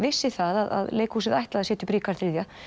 vissi það að leikhúsið ætlaði að setja upp Ríkharð þriðja